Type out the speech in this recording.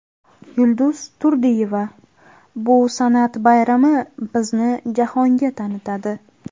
Yulduz Turdiyeva: Bu san’at bayrami bizni jahonga tanitadi.